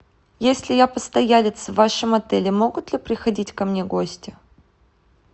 если я постоялец в вашем отеле могут ли приходить ко мне гости